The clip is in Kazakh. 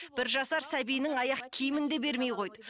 бір жасар сәбиінің аяқ киімін де бермей қойды